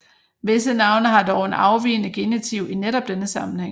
Visse navne har dog en afvigende genitiv i netop denne sammenhæng